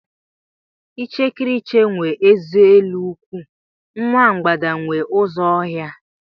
Ichekiriche nwe eze elu nkwụ, nwa mbgada nwe ụzọ ọhịa.